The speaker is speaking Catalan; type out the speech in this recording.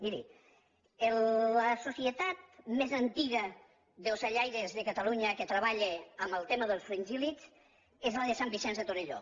miri la societat més antiga d’ocellaires de catalunya que treballa en el tema dels fringíllids és la de sant vicenç de torelló